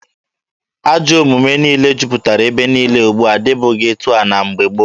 Ajọ omume niile juputara ebe niile ugbua adịbughị etu a na mgbe gboo.